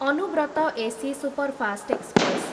Anubrata AC superfast express